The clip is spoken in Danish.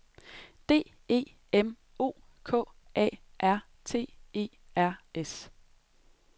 D E M O K R A T E R S